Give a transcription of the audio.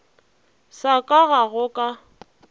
sa ka ga go ka